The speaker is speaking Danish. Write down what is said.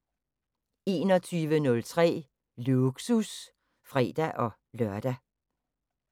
21:03: Lågsus (fre-lør)